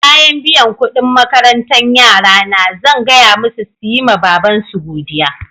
Bayan biyan kuɗin makarantan yara na, zan gaya musu su yi ma babansu godiya.